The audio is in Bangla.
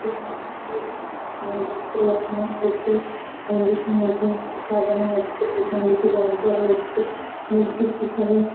উ মন্দিরের উম দৃশ্য দেখানো হয়েছে। মন্দিরটি নতুন করে সাজানো হচ্ছে। পেছন দিকে রং করা হচ্ছে। মূর্তির পিছনে--